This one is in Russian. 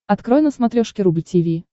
открой на смотрешке рубль ти ви